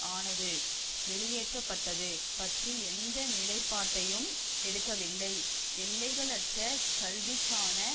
ஆனது வெளியேற்ற பட்டது பற்றி எந்த நிலைப்பாட்டையும் எடுக்கவில்லை எல்லைகளற்ற கல்விகான